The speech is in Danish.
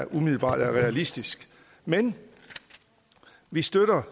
umiddelbart er realistisk men vi støtter